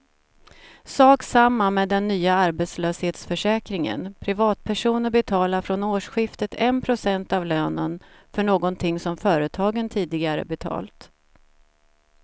Sak samma med den nya arbetslöshetsförsäkringen, privatpersoner betalar från årsskiftet en procent av lönen, för någonting som företagen tidigare betalt.